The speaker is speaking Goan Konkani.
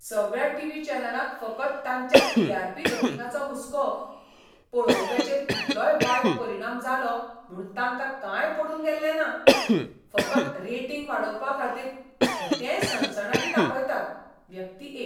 सगळ्या टीव्ही चॅनलांक फकत तांच्या टी.आर.पी. रेटिंगाचो हुस्को. पळोवप्यांचेर कितलोय वायट परिणाम जालो म्हूण तांकां कांय पडून गेल्लें ना. फकत रेटिंग वाडोवपाखातीर कितेंय सनसनाटी दाखयतात. व्यक्ती एक